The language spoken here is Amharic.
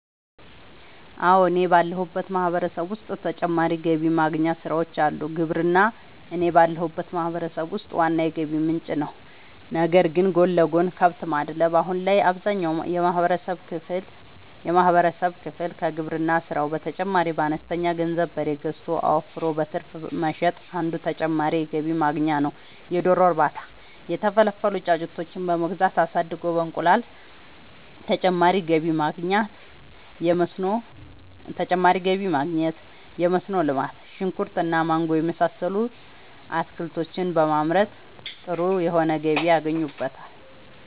አወ እኔ ባለሁበት ማህበረሰብ ዉስጥ ተጨማሪ ገቢ ማግኛ ስራወች አሉ። ግብርና እኔ ባለሁበት ማህበረሰብ ውስጥ ዋና የገቢ ምንጭ ነዉ ነገር ግን ጎን ለጎን :- ከብት ማድለብ :- አሁን ላይ አብዛኛውን የማህበረሰብ ክፍል ከግብርና ስራው በተጨማሪ በአነስተኛ ገንዘብ በሬ ገዝቶ አወፍሮ በትርፍ መሸጥ አንዱ ተጨማሪ የገቢ ማግኛ ነዉ የዶሮ እርባታ:- የተፈለፈሉ ጫጩቶችን በመግዛት አሳድጎ በእንቁላል ተጨማሪ ገቢ ማግኘት የመስኖ ልማት :-ሽንኩርት እና ማንጎ የመሳሰሉት አትክልቶችን በማምረት ጥሩ የሆነ ገቢ ያገኙበታል